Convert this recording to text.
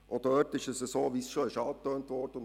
Auch dort ist es so, wie es bereits angetönt wurde.